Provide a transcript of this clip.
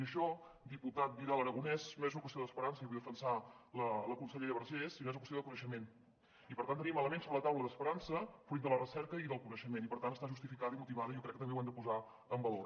i això diputat vidal aragonés no és una qüestió d’esperança i vull defensar la consellera vergés sinó que és una qüestió de coneixement i per tant tenim elements sobre la taula d’esperança fruit de la recerca i del coneixement i per tant està justificada i motivada i jo crec que també ho hem de posar en valor